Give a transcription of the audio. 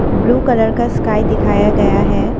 Blue colour का sky दिखाया गया है।